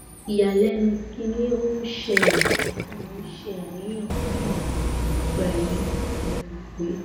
iyalẹnu kini o n sele mo n ṣe aniyan pupọ nipa eyi mo ro pe